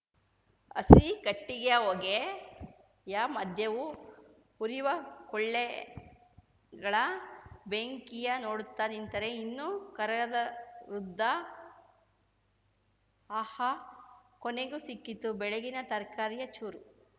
ಹಸಿ ಕಟ್ಟಿಗೆಯ ಹೊಗೆ ಯ ಮಧ್ಯವೂ ಉರಿವ ಕೊಳ್ಳೆಗಳ ಬೆಂಕಿಯ ನೋಡುತ್ತ ನಿಂತರೆ ಇನ್ನೂ ಕರಗದ ವೃದ್ಧ ಆಹ್‌ ಕೊನೆಗೂ ಸಿಕ್ಕಿತು ಬೆಳಗ್ಗಿನ ತರಕಾರಿಯ ಚೂರು